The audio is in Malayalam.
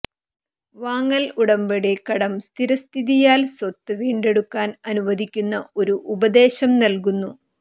വാങ്ങൽ ഉടമ്പടി കടം സ്ഥിരസ്ഥിതിയാൽ സ്വത്ത് വീണ്ടെടുക്കാൻ അനുവദിക്കുന്ന ഒരു ഉപദേശം നൽകുന്നു